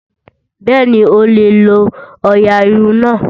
Bẹ́ẹ̀ni, o lè lo ọ̀ọ̀yà irun náà